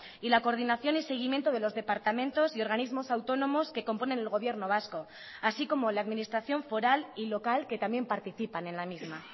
y la coordinación y seguimiento de los departamentos y organismos autónomos que componen el gobierno vasco así como la administración foral y local que también participan en la misma